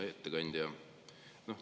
Hea ettekandja!